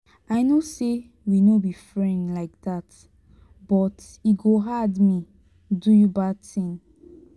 i know say we no be friend like dat but e go hard me do you bad thing.